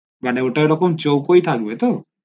মানে ওটা ওরকম চুকোই থাকবে তো